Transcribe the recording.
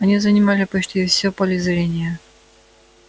они занимали почти всё поле зрения